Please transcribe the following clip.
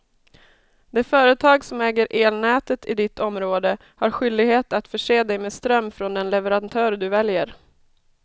Det företag som äger elnätet i ditt område har skyldighet att förse dig med ström från den leverantör du väljer.